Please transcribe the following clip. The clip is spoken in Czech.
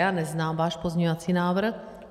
Já neznám váš pozměňovací návrh.